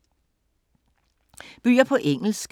Bøger på engelsk